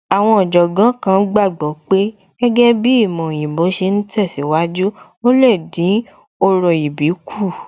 Àwọn Ọ̀jọ̀gbọ́n kan gbàgbọ́ pé gẹ́gẹ́ bíi ìmọ̀ òyìnbó ṣe ń tẹ̀síwájú, ò lè dín orò ìbí kù